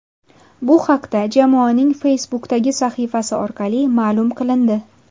Bu haqda jamoaning Facebook’dagi sahifasi orqali ma’lum qilindi .